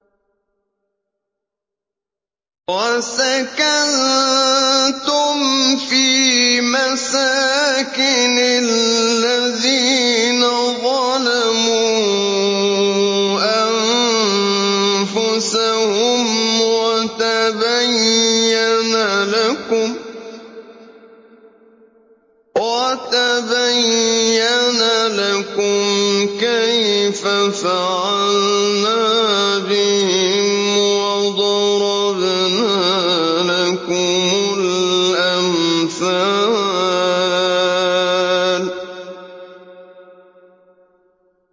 وَسَكَنتُمْ فِي مَسَاكِنِ الَّذِينَ ظَلَمُوا أَنفُسَهُمْ وَتَبَيَّنَ لَكُمْ كَيْفَ فَعَلْنَا بِهِمْ وَضَرَبْنَا لَكُمُ الْأَمْثَالَ